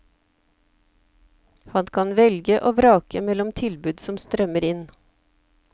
Han kan velge og vrake mellom tilbud som strømmer inn.